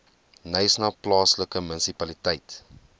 knysna plaaslike munisipaliteit